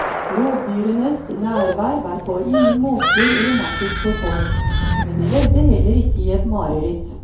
Rovdyrenes nærvær var på ingen måter romantisk for folk, men de levde heller ikke i et mareritt.